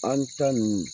An ta nun